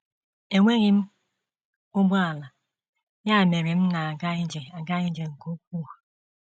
Enweghị m ụgbọala, ya mere m na - aga ije aga ije nke ukwuu.